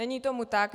Není tomu tak.